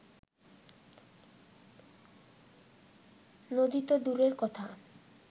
নদী তো দূরের কথা